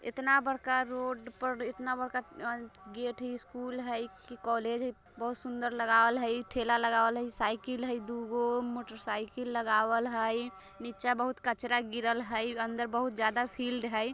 इतना बड़का रोड पर और इतना बड़का अइ गेट है। स्कूल है की कॉलेज है बहुत सुंदर लगावल हई। ठेला लगावल हई साइकिल है दुगो मोटर साइकिल लगावल हई। नीचे बहुत कचरा गिरल हई अंदर बहुत ज्यादा फील्ड हई।